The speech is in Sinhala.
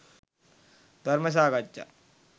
ධර්ම සාකච්ඡා